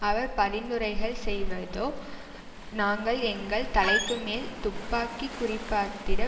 அவர் பரிந்துரைகள் செய்வதோ நாங்கள் எங்கள் தலைக்குமேல் துப்பாக்கி குறிபார்த்திட